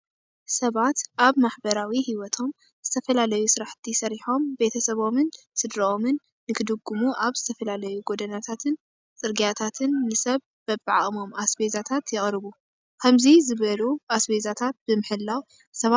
ሰባት ኣብ ማህበራዊ ህይዎቶም ዝተፈላለዩ ስራሕቲ ሰሪሖም ቤተሰቦምን ስድርኦምን ንክድግሙ ኣብ ዝተፈላለዩ ጎዳናታትን ፅርጊያታትን ንሰብ በቢዓቅሞም ኣስቤዛታት የቅርቡ። ከምዚ ዝበሉ ኣስቤዛታት ብምሕላው ሰባት ሕጉሳት እዮም።